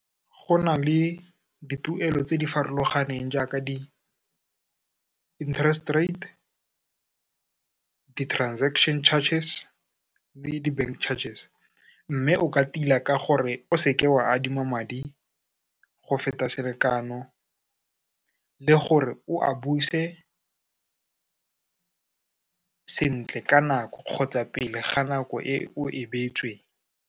Go na le dituelo tse di farologaneng jaaka di-interest rate, di-transaction charges le di-bank charges. Mme o ka tilwa ka gore, o seke wa adima madi go feta selekano le gore o a buse, sentle ka nako kgotsa pele ga nako e o e beetsweng.